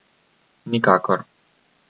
Nikakor.